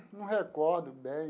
Não recordo bem.